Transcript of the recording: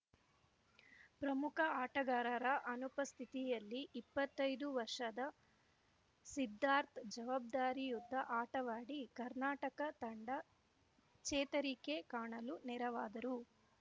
ಪ್ರಮುಖ ಆಟಗಾರರ ಅನುಪಸ್ಥಿತಿಯಲ್ಲಿ ಇಪ್ಪತ್ತೈದು ವರ್ಷದ ಸಿದ್ಧಾರ್ಥ್ ಜವಾಬ್ದಾರಿಯುತ ಆಟವಾಡಿ ಕರ್ನಾಟಕ ತಂಡ ಚೇತರಿಕೆ ಕಾಣಲು ನೆರವಾದರು